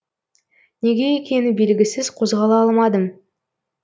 неге екені белгісіз қозғала алмадым